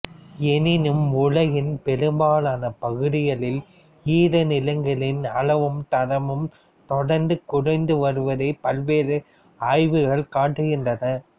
எனினும் உலகின் பெரும்பாலான பகுதிகளில் ஈரநிலங்களின் அளவும் தரமும் தொடர்ந்து குறைந்து வருவதைப் பல்வேறு ஆய்வுகள் காட்டுகின்றன